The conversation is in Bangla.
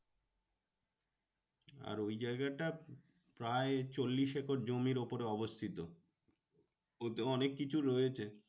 আর ওই জায়গাটা প্রায় চল্লিশ একর জমির উপরে অবস্থিত। ওতেও অনেককিছু রয়েছে।